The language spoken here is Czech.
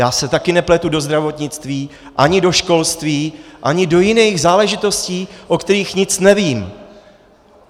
Já se také nepletu do zdravotnictví, ani do školství, ani do jiných záležitostí, o kterých nic nevím.